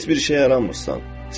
Heç bir şeyə yaramırsan.